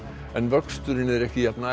en vöxturinn er ekki jafn